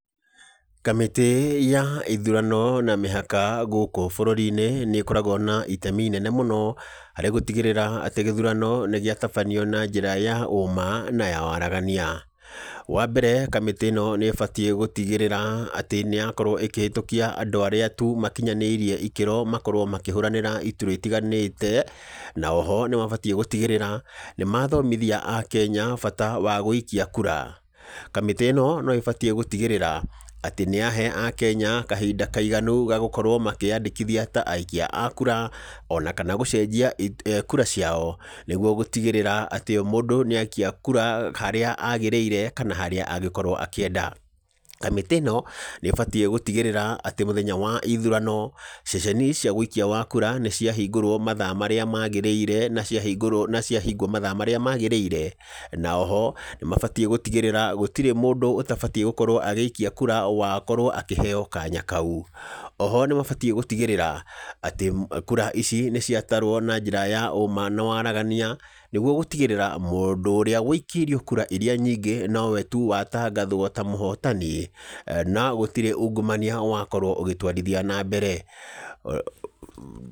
Kamĩtĩ ya ithurano na mĩhaka gũkũ bũrũri-inĩ, nĩ ĩkoragwo na itemi inene mũno, harĩ gũtigĩrĩra atĩ gĩthurano nĩ gĩatabanio na njĩra ya ũũma na ya waragania. Wa mbere, kamĩtĩ ĩno nĩ ĩbatiĩ gũtigĩrĩra atĩ nĩ yakorwo ĩkĩhetũkia andũ arĩa tu makinyanĩirie ikĩro makorwo makĩhũranĩra iturwa itiganĩte, na oho nĩ mabatiĩ gũtigĩrĩra nĩ mathomithia Akenya bata wa gũikia kura. Kamĩtĩ ĩno no ĩbatiĩ gũtigĩrĩra atĩ nĩ yahe Akenya kahinda kaiganu ga gũkorwo makĩyandĩkithia ta aikia a kura, ona kana gũcenjia kura ciao, nĩguo gũtigĩrĩra atĩ o mũndũ nĩ aikia kura harĩa agĩrĩire kana harĩa angĩkorwo akĩenda. Kamĩtĩ ĩno, nĩ ĩbatiĩ gũtigĩrĩra atĩ mũthenya wa ithurano, ceceni cia wĩikia wa kura nĩ ciahingũrwo mathaa marĩa magĩrĩire na ciahingũrwo na ciahingwo mathaa marĩa magĩrĩire. Na oho, nĩ mabatiĩ gũtigĩrĩra gũtirĩ mũndũ ũtabatiĩ gũkorwo agĩikia kura wakorwo akĩheo kanya kau. Oho nĩ mabatiĩ gũtigĩrĩra, atĩ kura ici nĩ ciatarwo na njĩra ya ũũma na waragania, nĩguo gũtigĩrĩra mũndũ ũrĩa wĩikĩirwo kura irĩa nyingĩ nowe tu watangathwo ta mũhotani, na gũtirĩ ungumania wakorwo ũgĩtwarithia na mbere.